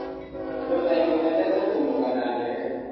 Andũ aingĩ mendete kũmbũka na ndege.